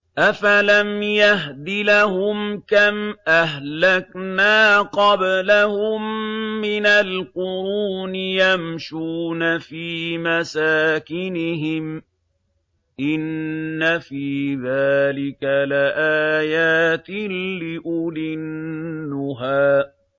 أَفَلَمْ يَهْدِ لَهُمْ كَمْ أَهْلَكْنَا قَبْلَهُم مِّنَ الْقُرُونِ يَمْشُونَ فِي مَسَاكِنِهِمْ ۗ إِنَّ فِي ذَٰلِكَ لَآيَاتٍ لِّأُولِي النُّهَىٰ